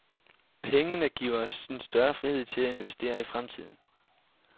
Pengene giver os en større frihed til at investere i fremtiden.